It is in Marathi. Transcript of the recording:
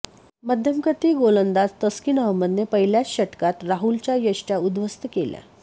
मध्यमगती गोलंदाज तस्किन अहमदने पहिल्याच षटकात राहुलच्या यष्टय़ा उद्ध्वस्त केल्या